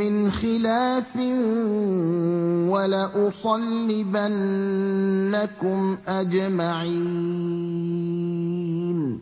مِّنْ خِلَافٍ وَلَأُصَلِّبَنَّكُمْ أَجْمَعِينَ